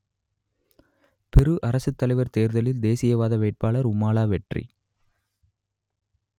பெரு அரசுத்தலைவர் தேர்தலில் தேசியவாத வேட்பாளர் உமாலா வெற்றி